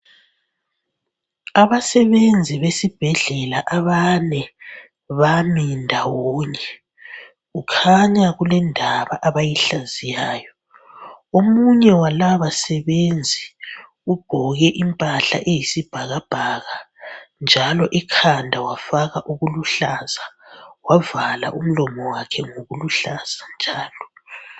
Abasebenzi besibhedlela abane bami ndawonye. Kukhanya kulendaba abayihlaziyayo. Omunye walabo basebenzi ugqoke impahla eyisibhakabhaka njalo ekhanda wafaka okuluhlaza, wavala umlomo wakhe ngokuluhlaza njalo.